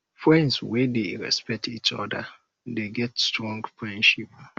friends wey dey respect each oda dey get strong friendship